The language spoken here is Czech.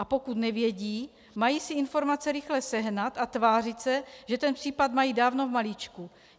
A pokud nevědí, mají si informace rychle sehnat a tvářit se, že ten případ mají dávno v malíčku.